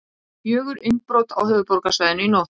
Fjögur innbrot á höfuðborgarsvæðinu í nótt